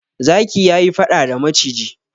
Zaki ya yi faɗa da maciji.